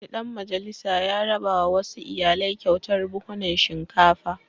Wani ɗan majalisa ya rabawa wasu iyalai kyautar buhhunan shinkafa.